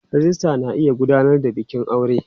Rijista na iya gudanar da bikin aure.